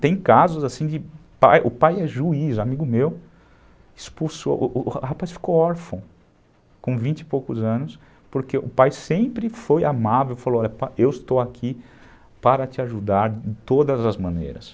Tem casos assim, o pai é juiz, amigo meu, expulsou, o o rapaz ficou órfão, com vinte e poucos anos, porque o pai sempre foi amável, falou, olha pai, eu estou aqui para te ajudar de todas as maneiras.